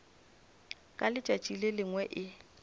ka letšatši le lengwe e